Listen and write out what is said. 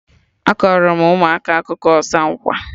Akọrọ m ụmụaka akụkọ ọsa nkwa